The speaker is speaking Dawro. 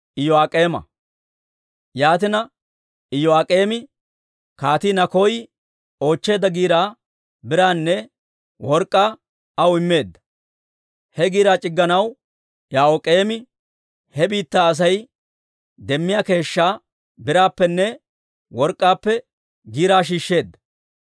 Yaatina Iyo'aak'eemi Kaatii Nakoy oochcheedda giiraa biraanne work'k'aanne aw immeedda. He giiraa c'igganaw Yo'aak'eemi he biittaa Asay demmiyaa keeshshaa biraappenne work'k'aappe giiraa shiishsheedda.